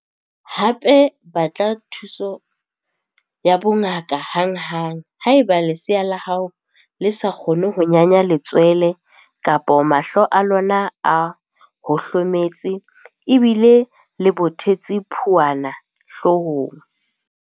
Hape, batla thuso ya bongaka hanghang haeba lesea la hao le sa kgone ho nyanya letswele kapa mahlo a lona a hohlometse le bile le bothetse phuana hloohong.